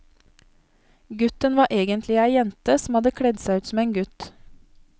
Gutten var egentlig ei jente som hadde kledd seg ut som gutt.